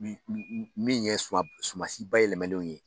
Min min min ye suma suma si bayɛlɛmalenw ye